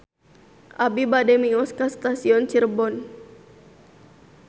Abi bade mios ka Stasiun Cirebon